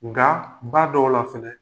Nga ba dɔw la fɛnɛ